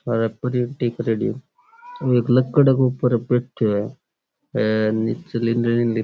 अरे प्रिंटिंग करेड़ी है एक लक्कडे के ऊपर बैठ्यो है एन --